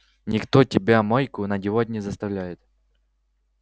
никто тебя майку надевать не заставляет